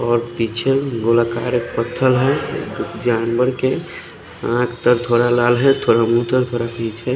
और पीछे गोलाकार एक पत्थर है जानवर के आख तो थोडा लाल है थोड़ा उतन थोड़ा पीछे--